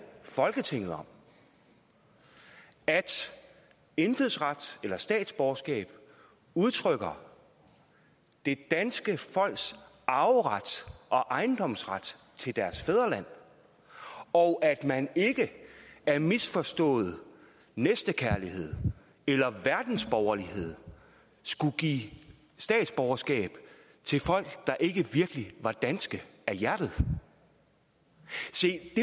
folketinget om at indfødsret eller statsborgerskab udtrykker det danske folks arveret og ejendomsret til deres fædreland og at man ikke af misforstået næstekærlighed eller verdensborgerlighed skulle give statsborgerskab til folk der ikke virkelig var danske af hjertet se